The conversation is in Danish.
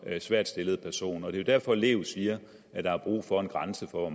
svært stillet person og det er jo derfor lev siger at der er brug for en grænse for